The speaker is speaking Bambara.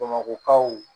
Bamakɔkaw